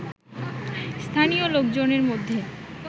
স্থানীয় লোকজনের মধ্যে